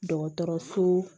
Dɔgɔtɔrɔso